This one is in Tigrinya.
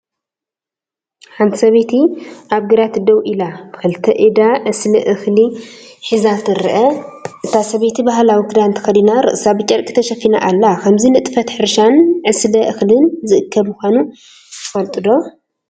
ሓንቲ ሰበይቲ ኣብ ግራት ደው ኢላ፡ ብኽልተ ኢዳ ዕስለ እኽሊ ሒዛ ትርአ። እታ ሰበይቲ ባህላዊ ክዳን ተኸዲና ርእሳ ብጨርቂ ተሸፊና ኣላ። ከምዚ ንጥፈት ሕርሻን ዕስለ እኽልን ዝእከብ ምዃኑ ትፈልጡ ዶ?